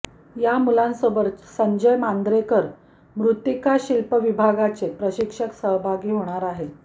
या मुलांसोबत संजय मांद्रेकर मृतिक्काशिल्प विभागाचे प्रशिक्षक सहभागी होणार आहेत